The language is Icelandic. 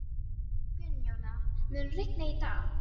Hennar vegna ígrundaði ég stöðu mína vandlega.